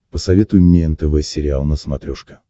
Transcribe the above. посоветуй мне нтв сериал на смотрешке